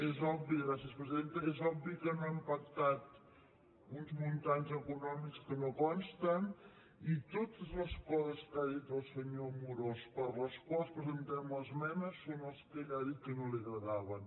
és obvi gràcies presidenta que no hem pactat uns imports econòmics que no consten i totes les coses que ha dit el senyor amorós per les quals presentem l’esmena són les que ell ha dit que no li agradaven